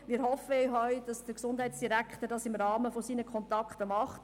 Wir hoffen auch, dass der Gesundheitsdirektor dies im Rahmen seiner Kontakte macht.